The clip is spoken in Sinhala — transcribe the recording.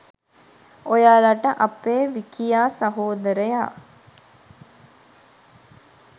ඔයාලට අපේ විකියා සහෝදරයා